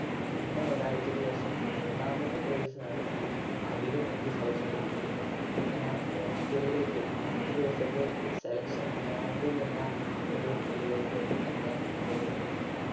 പിന്നെ ഒരാഴ്ചയ്ക്ക് ശേഷം മൂന്നാമതും trials നടത്തി അതിലും എനിക്ക് selection ലഭിച്ചു അങ്ങനെ ഞാൻ hostel ലേക്ക് പത്തു ദിവസത്തെ selection camb എന്ന ഒരു ഇതിലേക്ക്